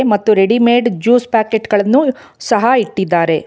ಮತ್ತು readymade juice ಪಾಕೆಟ್ಗಳನ್ನು ಸಹ ಇಟ್ಟಿದ್ದಾರೆ.